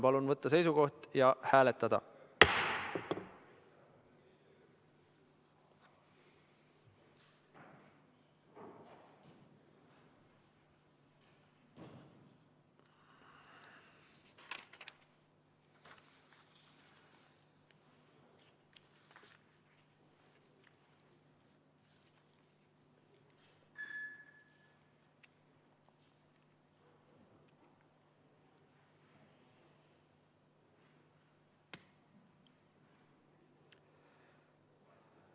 Palun võtta seisukoht ja hääletada!